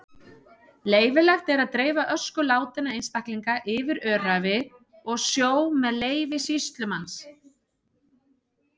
Leyfilegt er að dreifa ösku látinna einstaklinga yfir öræfi og sjó með leyfi sýslumanns.